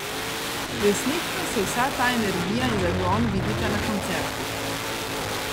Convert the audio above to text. Resnično se vsa ta energija in zagon vidita na koncertih.